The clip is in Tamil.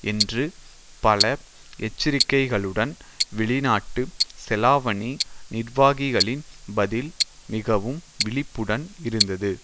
என்று பல எச்சரிக்கைகளுடன் வெளிநாட்டு செலாவணி நிர்வாகிகளின் பதில் மிகவும் விழிப்புடன் இருந்தது